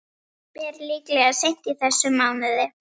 Ber líklega seint í þessum mánuði.